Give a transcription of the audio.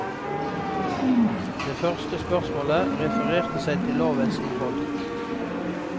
Det første spørsmålet refererte seg til lovens innhold.